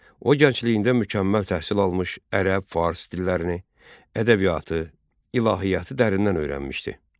O, gəncliyində mükəmməl təhsil almış, ərəb, fars dillərini, ədəbiyyatı, ilahiyyatı dərindən öyrənmişdi.